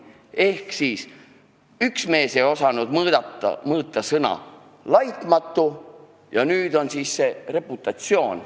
Ehk siis üks mees ei osanud määratleda sõna "laitmatu", ja nüüd on see sõna "reputatsioon".